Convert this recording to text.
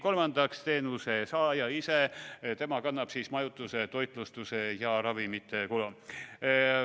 Kolmandaks, teenuse saaja ise kannab majutuse, toitlustuse ja ravimite kulu.